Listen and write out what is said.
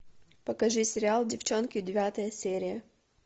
покажи сериал девчонки девятая серия